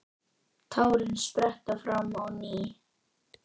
Tárin spretta fram á ný.